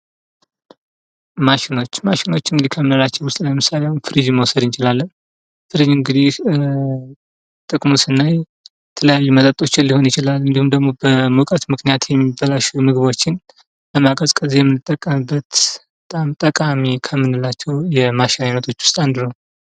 ማሽኖች ፦ ማሽኖች እንግዲህ ከምንላቸው ውስጥ ለምሳሌ አሁን ፍሪጅን መውሰድ እንችላለን ። ፍሪጅ እንግዲህ ጥቅሙን ስናይ የተለያዩ መጠጦችን ሊሆኑ ይችላል እንዲሁም ደግሞ በሙቀት ምክንያት የሚበላሹ ምግቦችን ለማቀዝቀዝ የምንጠቀምበት በጣም ጠቃሚ ከምንላቸው የማሽን አይነቶች ውስጥ አንዱ ነው ።